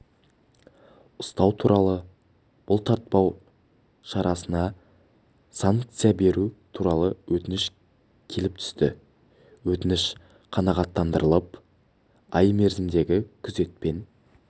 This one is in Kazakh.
ұстау туралы бұлтартпау шарасына санкция беру туралы өтініш келіп түсті өтініш қанағаттандырылып ай мерзімдегі күзетпен